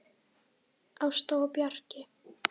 Ásta og Bjarki.